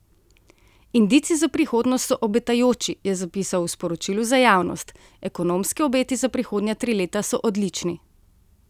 Indici za prihodnost so obetajoči, je zapisal v sporočilu za javnost: "Ekonomski obeti za prihodnja tri leta so odlični.